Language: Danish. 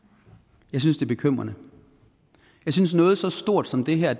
jeg synes det er bekymrende jeg synes at noget så stort som det her